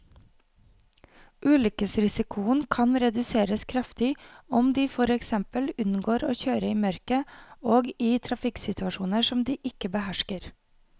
Ulykkesrisikoen kan reduseres kraftig om de for eksempel unngår å kjøre i mørket og i trafikksituasjoner som de ikke behersker.